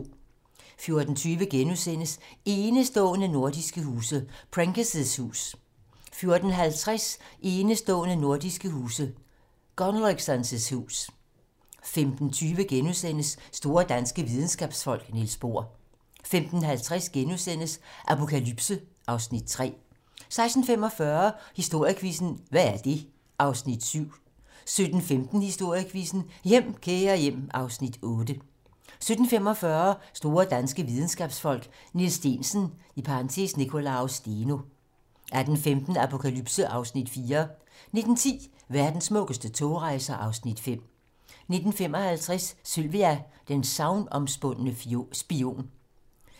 14:20: Enestående nordiske huse - Prenker's hus * 14:50: Enestående nordiske huse - Gunnløgsson's hus 15:20: Store danske videnskabsfolk: Niels Bohr * 15:50: Apokalypse (Afs. 3)* 16:45: Historiequizzen: Hvad er det? (Afs. 7) 17:15: Historiequizzen: Hjem, kære hjem (Afs. 8) 17:45: Store danske videnskabsfolk: Niels Steensen (Nicolaus Steno) 18:15: Apokalypse (Afs. 4) 19:10: Verdens smukkeste togrejser (Afs. 5) 19:55: Sylvia: den sagnomspundne spion